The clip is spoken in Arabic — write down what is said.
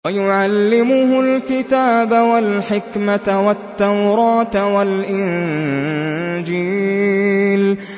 وَيُعَلِّمُهُ الْكِتَابَ وَالْحِكْمَةَ وَالتَّوْرَاةَ وَالْإِنجِيلَ